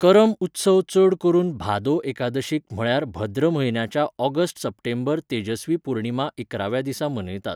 करम उत्सव चड करून भादो एकादशीक म्हळ्यार भद्र म्हयन्याच्या, ऑगस्ट सप्टेंबर, तेजस्वी पूर्णिमा इकराव्या दिसा मनयतात.